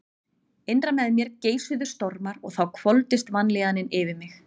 Innra með mér geisuðu stormar og þá hvolfdist vanlíðanin yfir mig.